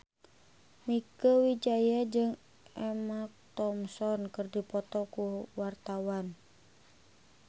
Mieke Wijaya jeung Emma Thompson keur dipoto ku wartawan